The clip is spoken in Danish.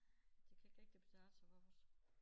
Det kan ikke rigtig betale sig for os